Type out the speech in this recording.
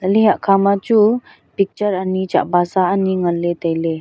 chatle hatkha ma chu picture ani chatbasa ani ngan ley tailey.